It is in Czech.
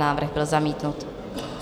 Návrh byl zamítnut.